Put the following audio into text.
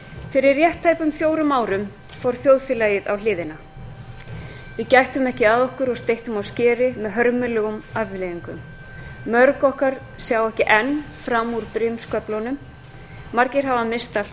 fyrir rétt tæpum fjórum árum fór þjóðfélagið á hliðina við gættum ekki að okkur og steyttum á skeri með hörmulegum afleiðingum mörg okkar sjá ekki enn fram úr brimsköflunum margir hafa misst allt